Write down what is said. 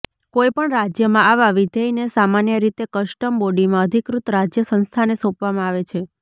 કોઈ પણ રાજ્યમાં આવા વિધેયને સામાન્ય રીતે કસ્ટમ બોડીમાં અધિકૃત રાજ્ય સંસ્થાને સોંપવામાં આવે છે